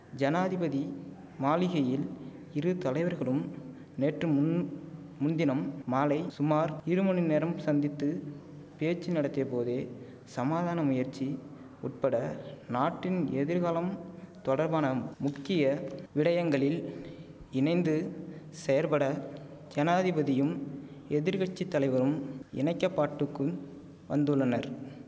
ஜனாதிபதி மாளிகையில் இரு தலைவர்களும் நேற்று முன் முன்தினம் மாலை சுமார் இருமணிநேரம் சந்தித்து பேச்சு நடத்திய போதே சமாதான முயற்சி உட்பட நாட்டின் எதிர்காலம் தொடர்பான முக்கிய விடயங்களில் இணைந்து செயற்பட ஜனாதிபதியும் எதிர்கட்சி தலைவரும் இணைக்கப்பாட்டுக்கும் வந்துள்ளனர்